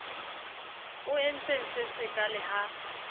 o entseng se sekaale ha